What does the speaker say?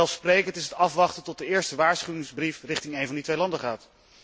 Vanzelfsprekend is het afwachten tot de eerste waarschuwingsbrief richting één van die twee landen gaat.